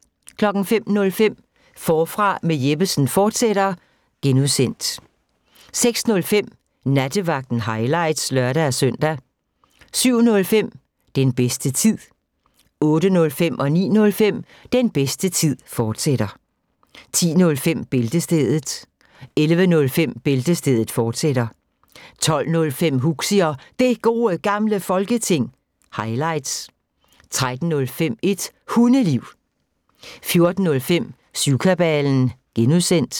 05:05: Forfra med Jeppesen fortsat (G) 06:05: Nattevagten – highlights (lør-søn) 07:05: Den bedste tid 08:05: Den bedste tid, fortsat 09:05: Den bedste tid, fortsat 10:05: Bæltestedet 11:05: Bæltestedet, fortsat 12:05: Huxi og Det Gode Gamle Folketing – highlights 13:05: Et Hundeliv 14:05: Syvkabalen (G)